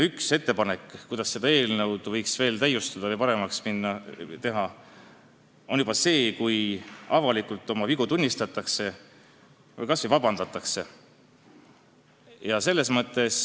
Üks ettepanek, kuidas seda eelnõu võiks täiustada või paremaks teha, on see, et avalikult oma vigu tunnistatakse või kas või vabandust palutakse.